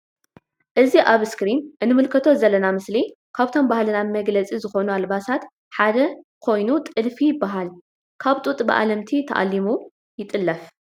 እዚ ኣብ ኣስክሪን እንምልከቶ ዘለና ምስሊ ካብቶም ባህልና መግለጺ ዝኮኑ ኣልባሳት ሓደ ኾይኑ ጥልፊ ይበሃል ።ካብ ጡጥ ብኣለምቲ ተኣሊሙ ይጥለፍ።